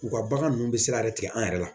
U ka bagan nunnu bɛ se ka yɛrɛ tigɛ an yɛrɛ la